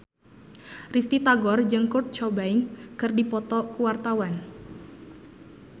Risty Tagor jeung Kurt Cobain keur dipoto ku wartawan